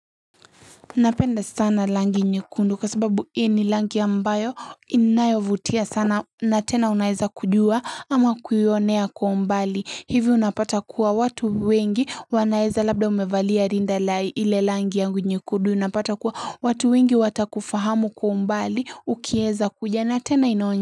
Napenda sana rangi nyekundu kwa sababu hii ni rangi ambayo inayovutia sana na tena unaeza kujua ama kuionea kwa umbali hivi unapata kuwa watu wengi wanaeza labda umevalia rinda la ile rangi yangu nyekundu unapata kuwa watu wengi watakufahamu kwa umbali ukieza kuja na tena inaonye.